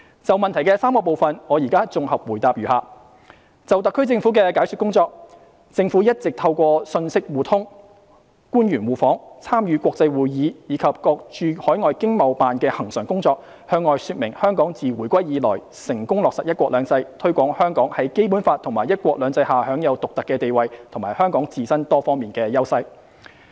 就質詢的3個部分，我現在綜合答覆如下：就特區政府的解說工作，政府一直透過信息互通、官員互訪、參與國際會議，以及各駐海外經濟貿易辦事處的恆常工作，向外說明香港自回歸以來成功落實"一國兩制"，推廣香港在《基本法》和"一國兩制"下享有獨特的地位和香港自身多方面的優勢。